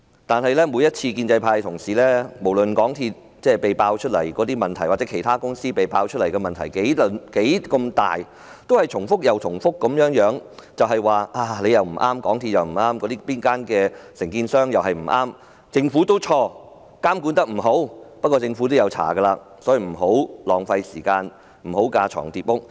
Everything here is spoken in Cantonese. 但是，每次無論香港鐵路有限公司或其他承建商被揭發的問題有多大，建制派同事也只是重複地說：港鐵公司不對，承建商也不對，政府也有錯，監管不力，不過，政府已在調查，所以立法會不應浪費時間再進行調查，不應架床疊屋。